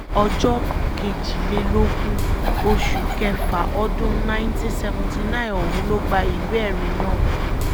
ọjọ́ kejìlélógún oṣù kéfà ọdún nineteen seventy nine ọ̀hún ló gba ìwé-ẹ̀rí náà